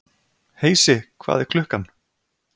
Heisi, hvað er klukkan?